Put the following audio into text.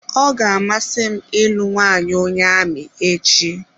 Ọ ga-amasị m ịlụ nwaanyị onye amị echi.